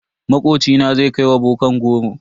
Makocina zai kai ma bokan goro.